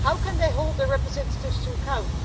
How can they hold their representatives to account?